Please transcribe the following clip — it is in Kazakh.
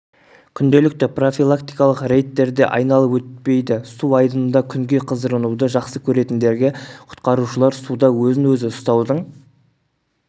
күнделікті профилактикалық рейдттерде айналып өтпейді су айдынында күнге қыздырынуды жақсы көретіндерге құтқарушылар суда өзін өзі ұстаудың